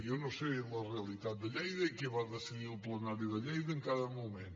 jo no sé la realitat de lleida i què va decidir el plenari de lleida en cada moment